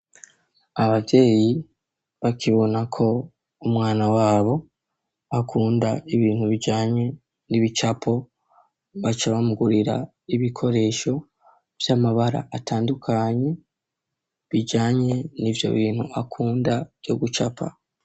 Ababyeyi bakibona ko umwana wabo akunda ibintu bijanye n'ibicapo baca bamugurira ibikoresho vy'amabara atandukanye bijanye n'ivyo bintu akunda vyo gucapa.